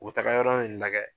U bɛ taga yɔrɔ in lagɛ